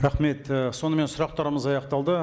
рахмет і сонымен сұрақтарымыз аяқталды